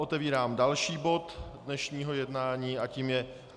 Otevírám další bod dnešního jednání a tím je